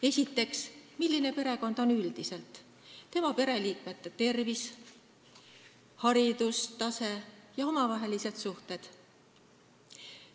Esiteks, milline on perekond üldiselt: pereliikmete tervis, haridustase ja omavahelised suhted.